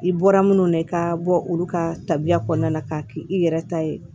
I bɔra minnu na i ka bɔ olu ka tabiya kɔnɔna na k'a kɛ i yɛrɛ ta ye